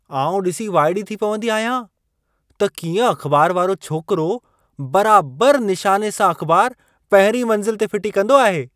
आउं ॾिसी वाइड़ी थी पवंदी आहियां त कीअं अख़बार वारो छोकिरो बराबरि निशाने सां अख़बार पहिरीं मंज़िल ते फिटी कंदो आहे।